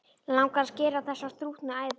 Langar að skera á þessar þrútnu æðar.